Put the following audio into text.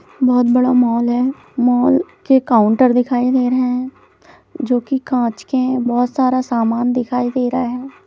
बहुत बड़ा मॉल है मॉल के काउंटर दिखाई दे रहे है जो की कांच के है बहुत सारे सामान दिखाई दे रहा है।